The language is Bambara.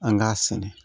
An k'a sɛnɛ